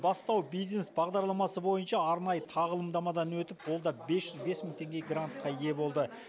бастау бизнес бағдарламасы бойынша арнайы тағылымдамадан өтіп ол да бес жүз бес мың теңге грантқа ие болды